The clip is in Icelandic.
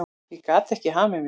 Ég gat ekki hamið mig.